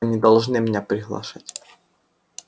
вы не должны меня приглашать